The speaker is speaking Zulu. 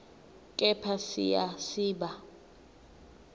kepha siya siba